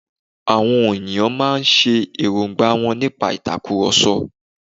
Àwọn on ènìyàn máa n sọ èròngbà wọ́n nípa ìtakùròsọ